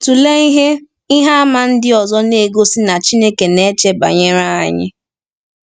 Tụlee ihe ihe àmà ndị ọzọ na-egosi na Chineke na-eche banyere anyị.